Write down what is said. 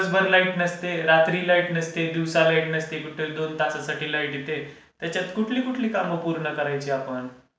अन दिवसभर लाईट नसते, रात्री लाईट नसते, दिवसा लाईट नसते कुठे दोन तासासाठी लाईट येते. त्याच्यात कुठली कुठली काम पूर्ण करायची आपण?